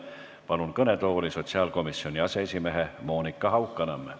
Palun kõnetooli sotsiaalkomisjoni aseesimehe Monika Haukanõmme.